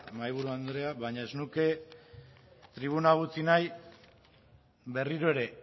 mahaiburu andrea baina ez nuke tribuna utzi nahi berriro ere